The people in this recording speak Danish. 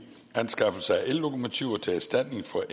anskaffelse af ellokomotiver til erstatning for